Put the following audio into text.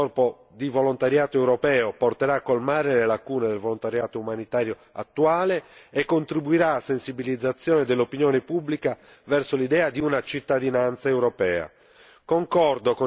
La costituzione di un corpo di volontariato europeo porterà a colmare le lacune del volontariato umanitario attuale e contribuirà alla sensibilizzazione dell'opinione pubblica verso l'idea di una cittadinanza europea.